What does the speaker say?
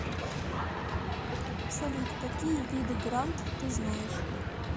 салют какие виды грант ты знаешь